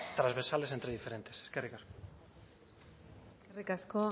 trasversales entre diferentes eskerrik asko eskerrik asko